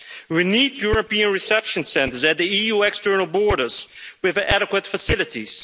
We need European reception centres at the EU external borders with adequate facilities.